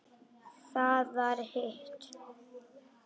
Það var hitt.